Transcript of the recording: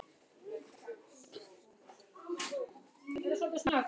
Gangi þér allt í haginn, Liam.